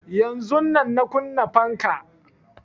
Yanzun nan na kunna fanka